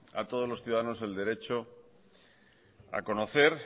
a todos los ciudadanos el derecho a conocer